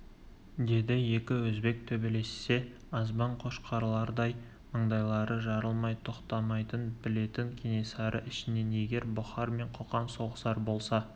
деді екі өзбек төбелессе азбан қошқарлардай маңдайлары жарылмай тоқтамайтынын білетін кенесары ішінен егер бұхар мен қоқан соғысар болса